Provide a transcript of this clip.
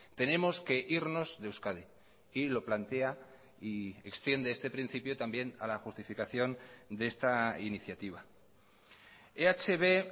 tenemos que irnos de euskadi y lo plantea y extiende este principio también a la justificación de esta iniciativa ehb